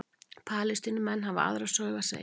Palestínumenn hafa aðra sögu að segja